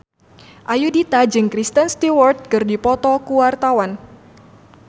Ayudhita jeung Kristen Stewart keur dipoto ku wartawan